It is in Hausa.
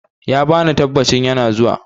He gave the assurance, he is coming.